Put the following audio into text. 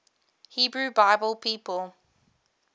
hebrew bible people